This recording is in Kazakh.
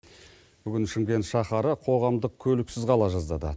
бүгін шымкент шаһары қоғамдық көліксіз қала жаздады